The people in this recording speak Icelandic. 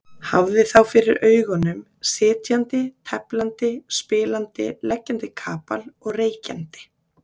Hafði þá fyrir augunum sitjandi, teflandi, spilandi, leggjandi kapal og reykjandi.